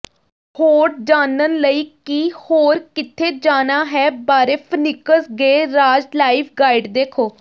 ਹੋਰ ਜਾਣਨ ਲਈ ਕਿ ਹੋਰ ਕਿੱਥੇ ਜਾਣਾ ਹੈ ਬਾਰੇ Phoenix garage life guide ਦੇਖੋ